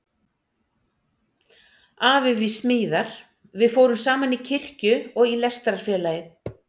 Afi við smíðar- við fórum saman í kirkju og í Lestrarfélagið.